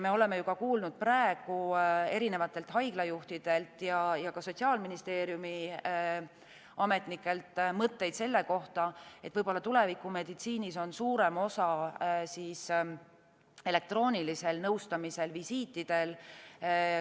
Me oleme praegu kuulnud erinevatelt haiglajuhtidelt ja ka Sotsiaalministeeriumi ametnikelt mõtteid selle kohta, et võib-olla tulevikumeditsiinis on suurem osa elektroonilisel nõustamisel, elektroonilistel visiitidel.